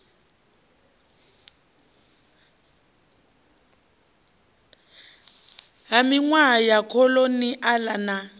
ha minwaha ya kholoniala na